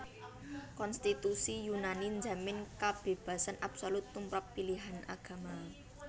Konstitusi Yunani njamin kabébasan absolut tumrap pilihan agama